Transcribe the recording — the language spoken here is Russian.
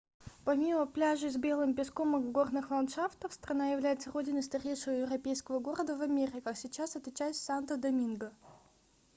помимо пляжей с белым песком и горных ландшафтов страна является родиной старейшего европейского города в америках сейчас это часть санто-доминго